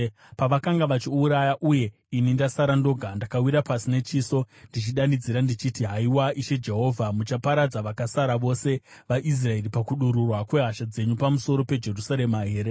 Pavakanga vachiuraya, uye ini ndasara ndoga, ndakawira pasi nechiso, ndichidanidzira, ndichiti, “Haiwa, Ishe Jehovha! Muchaparadza vakasara vose vaIsraeri pakudururwa kwehasha dzenyu pamusoro peJerusarema here?”